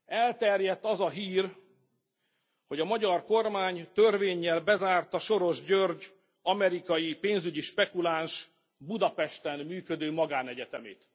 Elterjedt az a hír, hogy a magyar kormány törvénnyel bezárta Soros György, amerikai pénzügyi spekuláns Budapesten működő magánegyetemét.